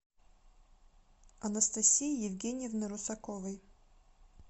анастасии евгеньевны русаковой